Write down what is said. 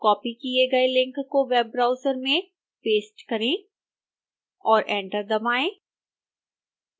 copy किए गए link को वेब ब्राउज़र में पेस्ट करें और एंटर दबाएं